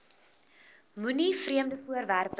moenie vreemde voorwerpe